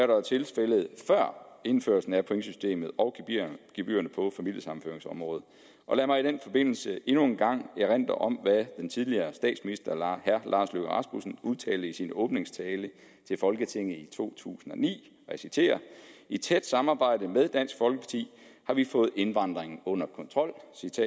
der var tilfældet før indførelsen af pointsystemet og gebyrerne på familiesammenføringsområdet lad mig i den forbindelse endnu en gang erindre om hvad tidligere statsminister herre lars løkke rasmussen udtalte i sin åbningstale til folketinget 2009 i et tæt samarbejde med dansk folkeparti har vi fået indvandringen under kontrol